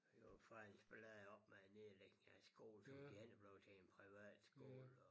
Der var faktisk ballade op med at nedlægge deres skole så det hele blev til en privatskole og